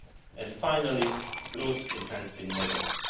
and finally, growth enhancing measures.